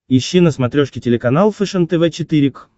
ищи на смотрешке телеканал фэшен тв четыре к